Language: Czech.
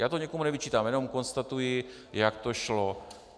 Já to nikomu nevyčítám, jenom konstatuji, jak to šlo.